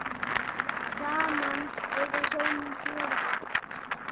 Saman eiga hjónin fjögur börn.